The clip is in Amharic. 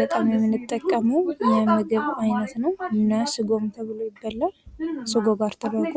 በጣም የምንጠቀመው የምግብ ዓይነት ነው። ስጎ ተብሎ ይበላል ስጎ ጋር ተደርጎ።